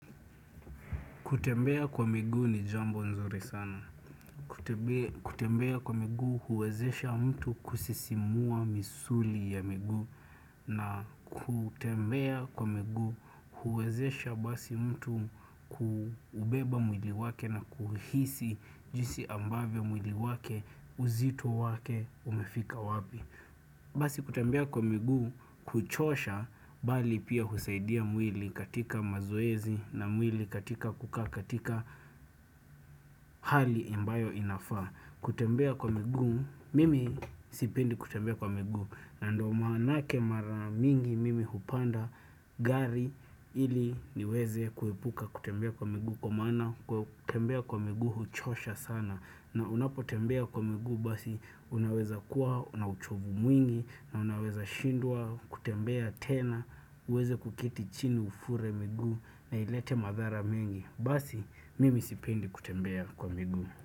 Kutembea kwa miguu ni jambo nzuri sana. Kutembea kwa miguu huwezesha mtu kusisimua misuli ya miguu na kutembea kwa miguu huwezesha basi mtu kubeba mwili wake na kuhisi jinsi ambavyo mwili wake uzito wake umefika wapi. Basi kutembea kwa miguu kuchosha bali pia husaidia mwili katika mazoezi na mwili katika kukaa katika hali ambayo inafaa kutembea kwa miguu mimi sipendi kutembea kwa miguu na ndo maanake mara mingi mimi hupanda gari ili niweze kuepuka kutembea kwa migu Kwa maana kutembea kwa miguu huchosha sana. Na unapotembea kwa miguu basi unaweza kuwa na uchovu mwingi. Na unaweza shindwa kutembea tena. Uweze kuketi chini ufure miguu na ilete madhara mengi. Basi mimi sipendi kutembea kwa miguu.